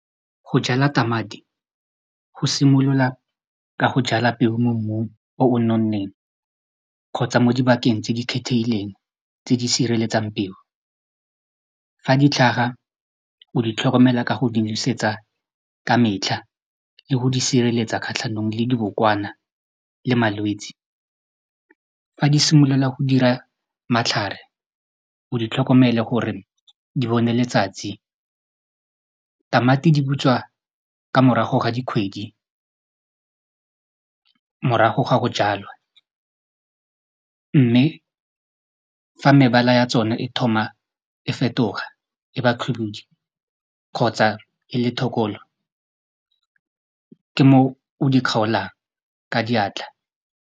Go jala tamati go simolola ka go jala peo mo mmung o o nonneng kgotsa mo dibakeng tse di kgethehileng tse di sireletsang peo fa di tlhaga o di tlhokomela ka go di nosetsa ka metlha le go di sireletsa kgatlhanong le dibokwana le malwetsi fa di simolola go dira matlhare o di tlhokomele gore di bone letsatsi tamati di butswa ka morago ga dikgwedi morago ga go jalwa mme fa mebala ya tsona e thoma e fetoga e ba khibidu kgotsa e le thekolo ke moo o di kgaolang ka diatla.